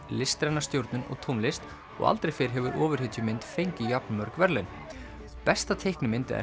listræna stjórnun og tónlist og aldrei fyrr hefur fengið jafnmörg verðlaun besta teikni eða